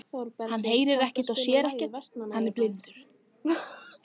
Hann heyrir ekkert og sér ekkert.